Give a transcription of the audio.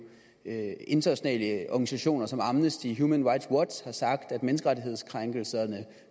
internationale organisationer som amnesty og human rights watch har sagt at menneskerettighedskrænkelserne